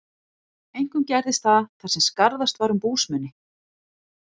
Einkum gerðist það, þar sem skarðast var um búsmuni.